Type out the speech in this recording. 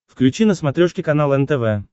включи на смотрешке канал нтв